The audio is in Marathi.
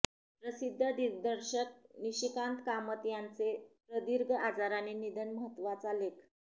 प्रसिद्ध दिग्दर्शक निशिकांत कामत यांचे प्रदीर्घ आजाराने निधन महत्तवाचा लेख